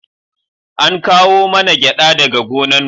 An kawo mana gyada daga gonan mu